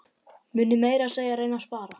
Muni meira að segja reyna að spara.